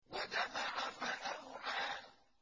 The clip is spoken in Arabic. وَجَمَعَ فَأَوْعَىٰ